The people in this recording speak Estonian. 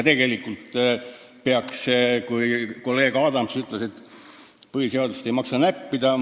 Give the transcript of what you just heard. Kolleeg Adams ütles, et põhiseadust ei maksa näppida.